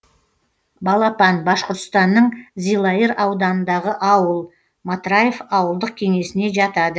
балапан башқұртстанның зилайыр ауданындағы ауыл матраев ауылдық кеңесіне жатады